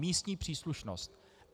Místní příslušnost.